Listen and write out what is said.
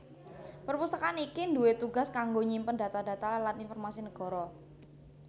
Perpustakaan iki duwé tugas kanggo nyimpen data data lan informasi nagara